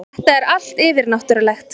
Þetta er allt yfirnáttúrulegt.